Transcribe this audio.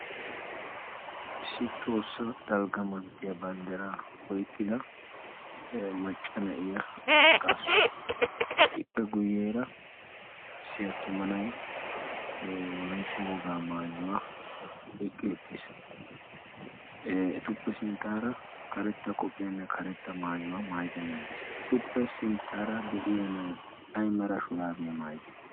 Issi tohossa dalgga manttiyaa banddaraa oiqqida macca na'iya qaasu ippe guyyeera siyattumanai wolaitta wogaa maayuwaa oiqqi uttiis etuppe sinttaara karetta qophiyaanne karetta maayuwaa maayidaan naidiis etuppe sinttaara de'iya na'ay ay mera shuraabiyaa maayidee?